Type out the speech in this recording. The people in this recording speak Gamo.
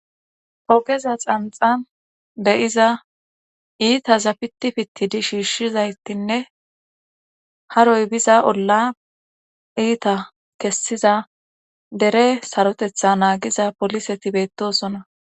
Pogeza xanxan deyiza iita zapitipittidi shiishshizaytinne haroy biza olla iita kessiza dere sarotetha naagiza poliseti beettosona.